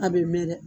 A bɛ mɛn dɛ